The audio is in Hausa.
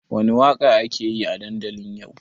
Wani waƙa ake yi a dandali yau?